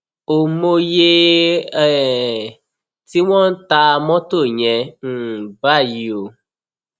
ó mòye um tí wọn ń ta mọtò yẹn um báyìí o